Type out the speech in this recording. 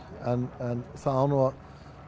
en það á nú að